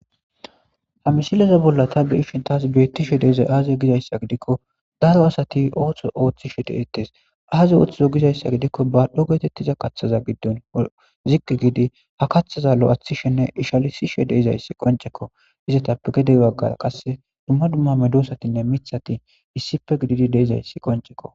Ha mishilaza bolla ta be ishin taas beettishe deizay aazi gizayssa gidikko daro asati ooththo ooththishe de eetes aaze ooththizo gizayssa gidikko baadhdho geetettiza kaththaza giddon ziggi gidi ha kaththaza lo'athishenne ishalisishe deizayssi qoncekko izatappe gedey waggara qasse dumma dumma me doosatinne mithati issife gididi deizayssi qoncekko